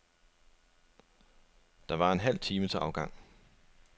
Der var en halv time til afgang.